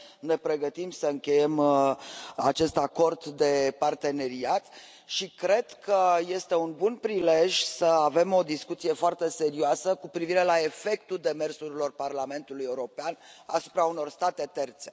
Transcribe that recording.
Ne pregătim să încheiem acest acord de parteneriat și cred că este un bun prilej să avem o discuție foarte serioasă cu privire la efectul demersurilor Parlamentului European asupra unor state terțe.